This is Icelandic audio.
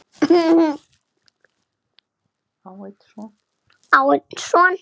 Á hún einn son.